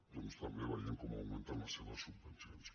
doncs també veiem com augmenten les seves subvencions